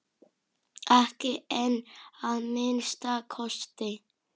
Ekki enn að minnsta kosti.